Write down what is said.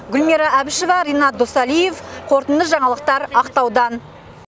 гүлмира әбішева ренат досалиев қорытынды жаңалықтар ақтаудан